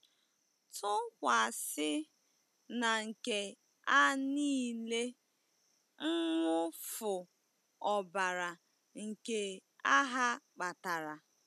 Tụkwasị na nke a nile mwụfu ọbara nke agha kpatara.